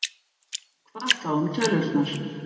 Hvað þá um tölurnar?